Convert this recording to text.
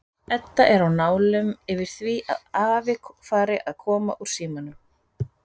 Edda er á nálum yfir því að afi fari að koma úr símanum.